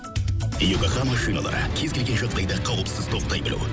йокогама шиналары кез келген жағдайда қауіпсіз тоқтай білу